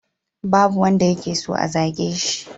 Babu wanda yake so a zage shi.